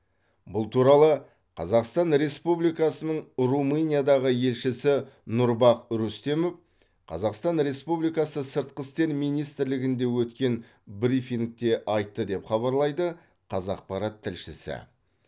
бұл туралы қазақстан республикасының румыниядағы елшісі нұрбах рүстемов қазақстан республикасы сыртқы істер министрлігінде өткен брифингте айтты деп хабарлайды қазақпарат тілшісі